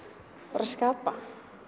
bara skapa